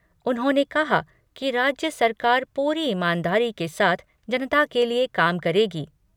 उन्होंने कहा कि राज्य सरकार पूरी ईमानदारी के साथ जनता के लिए काम करेगी।